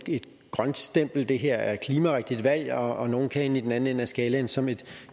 grønt stempel det her er et klimarigtigt valg og at nogle kan ende i den anden ende af skalaen som et